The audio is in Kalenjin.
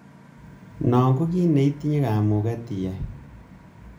Non ko kit neitinye kamuget iyai.